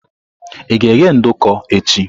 Ị ga-eghe nduku echi?